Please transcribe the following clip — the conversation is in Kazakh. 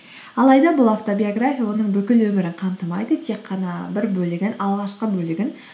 алайда бұл автобиография оның бүкіл өмірін қамтымайды тек қана бір бөлігін алғашқы бөлігін